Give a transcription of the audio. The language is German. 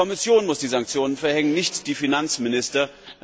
Die Kommission muss die Sanktionen verhängen, nicht die Finanzminister.